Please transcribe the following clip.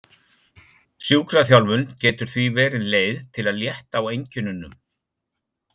Sjúkraþjálfun getur því verið leið til að létta á einkennunum.